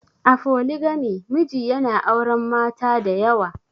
A Foligami, miji yana auren mata da yawa.